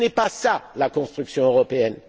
Ce n'est pas cela la construction européenne.